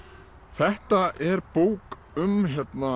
þetta er bók um